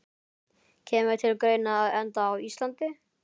Kemur til greina að enda á Íslandi?